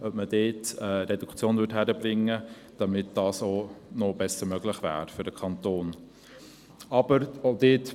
Es könnte geschaut werden, inwiefern dort eine Reduktion möglich wäre, damit dies für den Kanton besser möglich wäre.